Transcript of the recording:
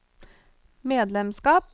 medlemskap